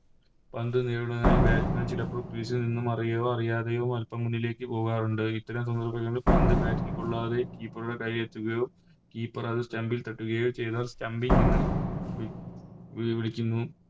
പന്ത് നേരിടാനായി Batsman ചിലപ്പോൾ Field നിന്നും അറിയോ അറിയാതെയോ അൽപ്പം മുന്നിലേക്ക് പോകാറുണ്ട് ഇത്തരം സന്ദർഭങ്ങളിൽ പന്ത് Bat ൽ കൊള്ളാതെ Keeper ടെ കൈയിൽ എത്തുകയോ Keper അത് Stump ൽ തട്ടുകയോ ചെയ്താൽ Stumping എന്ന് വി വി വിളിക്കുന്നു